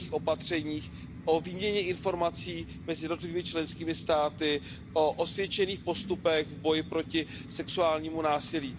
měkkých opatřeních, o výměně informací mezi jednotlivými členskými státy, o osvědčených postupech v boji proti sexuálnímu násilí.